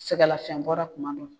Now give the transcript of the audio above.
Se ka lafiɲɛ bɔda tuma don.